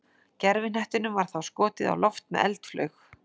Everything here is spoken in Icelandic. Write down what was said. gervihnettinum var þá skotið á loft með eldflaug